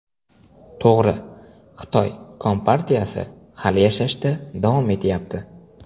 To‘g‘ri, Xitoy kompartiyasi hali yashashda davom etyapti.